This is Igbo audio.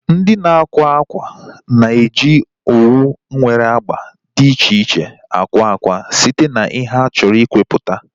Ndị na-akwa ákwà na-eji owu nwere agba dị iche iche akwa akwa site na ihe ha chọrọ ikwaputa